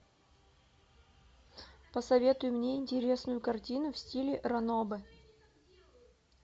посоветуй мне интересную картину в стиле ранобэ